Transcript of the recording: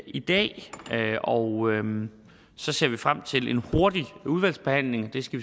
i dag og så ser vi frem til en hurtig udvalgsbehandling vi skal